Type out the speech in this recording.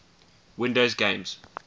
windows games